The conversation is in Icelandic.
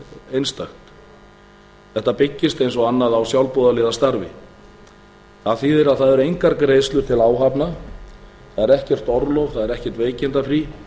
einstakt þetta byggist eins og annað á sjálfboðaliðastarfi það þýðir að það eru engar greiðslur til áhafna það er ekkert orlof það er ekkert